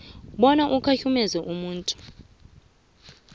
bona ukhahlumeze umuntu